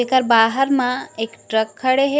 एकर बाहर मा एक ट्रक खड़े हे।